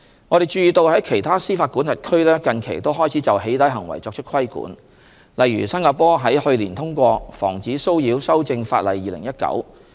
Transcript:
我們注意到在其他司法管轄區近期也開始就"起底"行為作出規管，例如新加坡於去年通過《防止騷擾法令2019》。